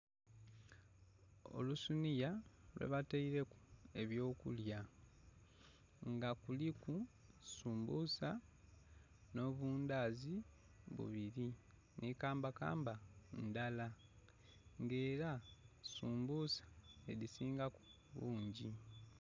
Olusiniya lwebataileku eby'okulya. Nga kuliku sumbusa, nh'obundazi bubiri, nhi kambakamba ndala. Nga era sumbusa nh'edhisingaku bungi.